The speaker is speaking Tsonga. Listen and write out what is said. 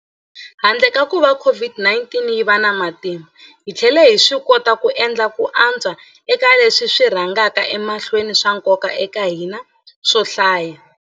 Handle ka kuva COVID-19 yi va na matimba, hi tlhele hi swikota ku endla ku antswa eka leswi swi rhangaka emahlweni swa nkoka eka hina swo hlaya.